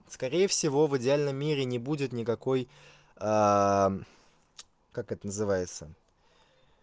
скорее всего в идеальном мире не будет никакой как это называется